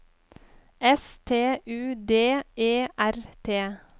S T U D E R T